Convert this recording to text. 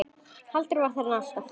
Halldór var þarna alltaf.